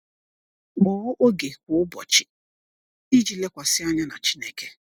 Kpọọ oge kwa ụbọchị iji lekwasị anya na Chineke.